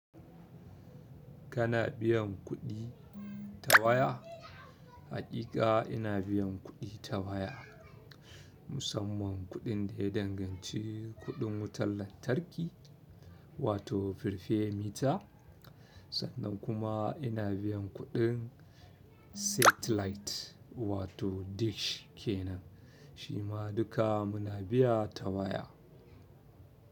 Kana biyan kuɗi ta waya? Haƙiƙa ina biyan kuɗi ta waya, musamman kuɗin da ya danganci kuɗin wutar lantarki wato firfe mita, sannan kuma ina biyan kuɗin satellite wato dish kenan. Shi ma duka muna biya ta waya.